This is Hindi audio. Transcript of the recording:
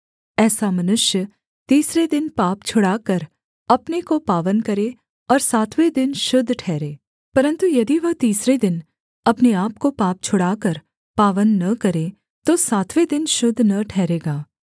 ऐसा मनुष्य तीसरे दिन पाप छुड़ाकर अपने को पावन करे और सातवें दिन शुद्ध ठहरे परन्तु यदि वह तीसरे दिन अपने आपको पाप छुड़ाकर पावन न करे तो सातवें दिन शुद्ध न ठहरेगा